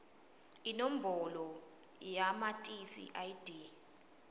inombolo yamatisi id